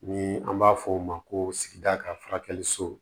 Ni an b'a fɔ o ma ko sigida ka furakɛli so